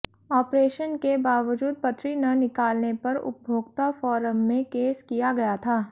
operation के बावजूद पथरी न निकालने पर उपभोक्ता फोरम में केस किया गया था